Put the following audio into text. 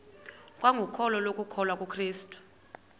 kwangokholo lokukholwa kukrestu